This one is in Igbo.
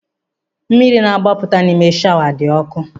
Mmiri na-agbapụta n'ime shawa dị ọkụ.